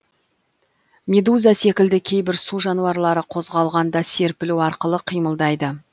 медуза секілді кейбір су жануарлары қозғалғанда серпілу арқылы қимылдайды